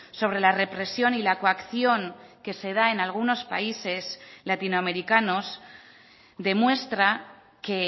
sobre la represión y la coacción que se da en algunos países latinoamericanos demuestra que